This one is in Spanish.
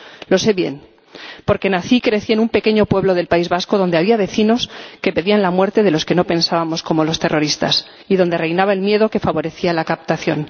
Lo sé bien porque nací y crecí en un pequeño pueblo del País Vasco, donde había vecinos que pedían la muerte de los que no pensábamos como los terroristas y donde reinaba el miedo que favorecía la captación.